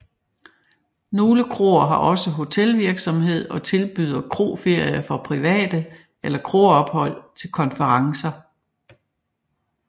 Nogle kroer har også hotelvirksomhed og tilbyder kroferier for private eller kroophold til konferencer